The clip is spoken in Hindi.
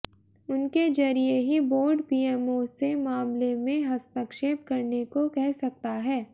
उनके जरिए ही बोर्ड पीएमओ से मामले में हस्तक्षेप करने को कह सकता है